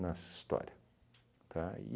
nessa história, tá?